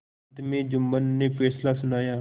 अंत में जुम्मन ने फैसला सुनाया